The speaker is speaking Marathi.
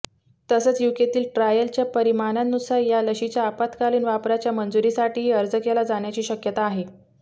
तसंच यूकेतील ट्रायलच्या परिणामांनुसार या लशीच्या आपात्कालीन वापराच्या मंजुरीसाठीही अर्ज केला जाण्याची शक्यता आहे